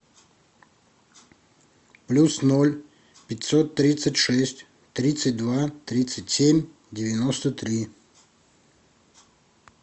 плюс ноль пятьсот тридцать шесть тридцать два тридцать семь девяносто три